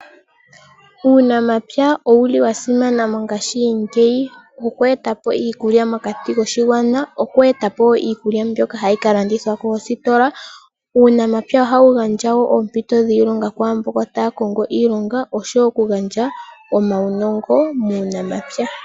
Uunamapya owuli wa simana mongashingeyi oku etapo iikulya mokati koshigwana, oku etapo wo iikulya mbyoka hayi ka landithwa koositola. Uunamapya ohawu gandja wo oompito dhiilonga kwaa mbono taya kongo iilonga oshowo oku gandja omawunongo muunamapya.